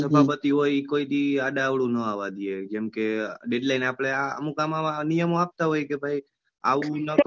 સભાપતિ હોય એ કોઈ દિવસ અદા અવળું નાં આવવા દે જેમ કે deadline આપડે અવ નિયમ આવતા હોય કે આવું ન કરો.